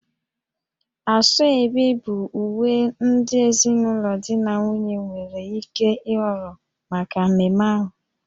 Asoebi bụ uwe ndị ezinụlọ di na nwunye nwere ike ịhọrọ maka mmemme ahụ